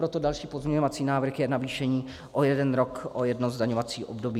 Proto další pozměňovací návrh je navýšení o jeden rok, o jedno zdaňovací období.